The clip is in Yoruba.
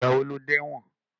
Ìgbà wo lo dé ẹ̀wọ̀n?